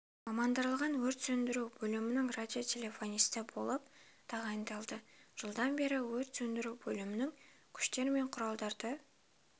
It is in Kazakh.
мамандандырылған өрт сөндіру бөлімінің радиотелефонисті болып тағайындалды жылдан бері өрт сөндіру бөлімінің күштер мен құралдарды